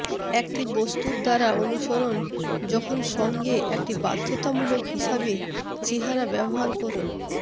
একটি বস্তুর দ্বারা অনুসরণ যখন সঙ্গে একটি বাধ্যতামূলক হিসাবে চেহারা ব্যবহার করুন